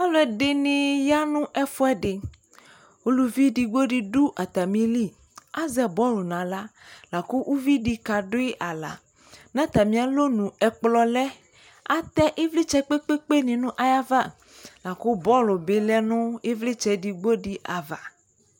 Aluɛ de ne ya no ɛfuɛ de Aluvi edigbo de do atame li, azɛ bɔlu nahla la ko uvli de kadoe ahla Na tame alu nu ɛkolɔ lɛAtɛ evltsɛ kpekpe ne no ayava la ko bɔlu be lɛ no evletsɛ edigbo de ava